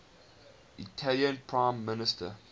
italian prime minister